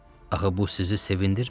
Axı bu sizi sevindirmir?